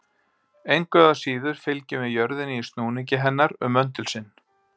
Engu að síður fylgjum við jörðinni í snúningi hennar um möndul sinn.